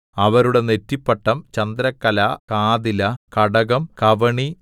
അവരുടെ നെറ്റിപ്പട്ടം ചന്ദ്രക്കല കാതില കടകം കവണി